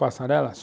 Passarela?